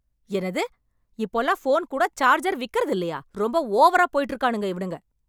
என்னது! இப்போல்லாம் போன் கூட சார்ஜர் விக்குறதில்லையா? ரொம்ப ஓவராப் போயிட்டு இருக்கானுங்க இவனுங்க.